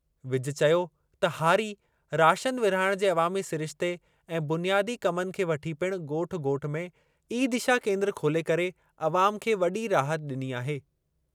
विज चयो त हारी, राशन विर्हाइणु जे अवामी सिरिश्ते ऐं बुनियादी कमनि खे वठी पिणु ॻोठ ॻोठ में ई-दिशा क्रेन्द्र खोले करे अवाम खे वॾी राहत ॾिनी आहे।